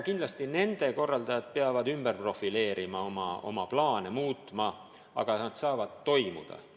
Kindlasti nende korraldajad peavad ümber profileerima, oma plaane muutma, aga need saavad toimuda.